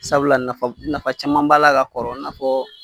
Sabula nafa, nafa caman b'a la ka kɔrɔ i na fɔ